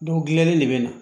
gilalen de bɛ na